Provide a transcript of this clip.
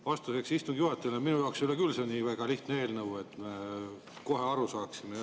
Vastuseks istungi juhatajale: minu jaoks ei ole küll see nii väga lihtne eelnõu, et me kohe aru saaksime.